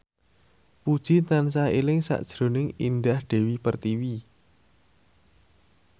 Puji tansah eling sakjroning Indah Dewi Pertiwi